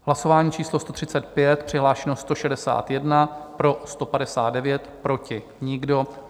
Hlasování číslo 135, přihlášeno 161, pro 159, proti nikdo.